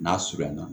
N'a surunya na